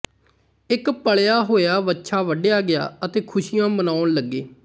ਇੱਕ ਪਲ਼ਿਆ ਹੋਇਆ ਵੱਛਾ ਵੱਢਿਆ ਗਿਆ ਅਤੇ ਖ਼ੁਸ਼ੀਆਂ ਮਨਾਉਣ ਲੱਗੇ